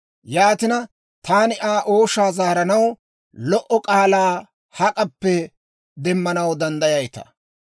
«Yaatina, taani Aa ooshaa zaaranaw lo"o k'aalaa hak'appe demmanaw danddayayitaa?